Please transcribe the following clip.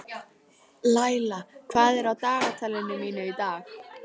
Laila, hvað er á dagatalinu mínu í dag?